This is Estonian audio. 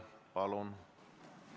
Palun!